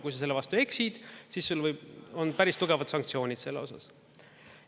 Kui sa selle vastu eksid, siis sul on päris tugevad sanktsioonid selle osas.